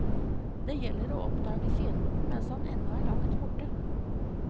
Det gjelder å oppdage fienden mens han ennå er langt borte.